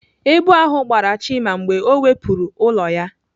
Èbù ahụ gbara Chima mgbe ọ wepụrụ ụlọ ya.